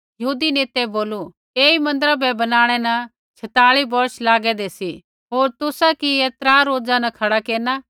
यहूदी नेतै बोलू ऐई मन्दिरा बै बनाणै न छेताली बौर्ष लागेंदे सी होर तुसा कि ऐ त्रा रोजा न खड़ा केरना